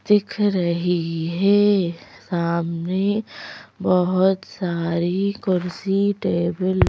दिख रही है सामने बहुत सारी कुर्सी टेबल --